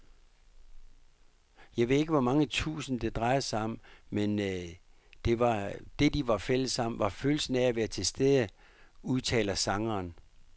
Jeg ved ikke hvor mange tusind, det drejede sig om, men det, de var fælles om, var følelsen af at være tilstede, udtaler sangeren.